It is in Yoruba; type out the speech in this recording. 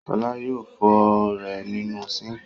Ṣọlá yóò fọ ú rẹ̀ nínú síńkì..